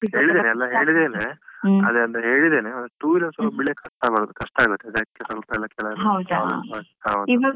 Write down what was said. ಹೇಳಿದ್ದೇನೆ ಎಲ್ಲ ಹೇಳಿದ್ದೇನೆ ಅದೆ ಅಂದ್ರೆ, ಹೇಳಿದ್ದೇನೆ two wheeler ಸ್ವಲ್ಪ ಬಿಡಾಕಾಗ್ತ ಇಲ್ಲ, ಕಷ್ಟ ಆಗುತ್ತೆ ಅದಕ್ಕೆ ಸ್ವಲ್ಪ ಕೆಲವೆಲ್ಲ .